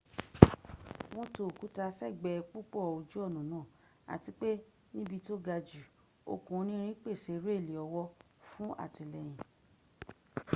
wọn tó òkúta s'ẹ́gbẹ́ púpọ̀ ojú ọ̀nà náà àti pé níbi tó gajù okùn onírin pèsè réèlì ọwọ́ fún àtìlẹ́yìn